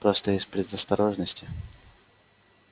просто из предосторожности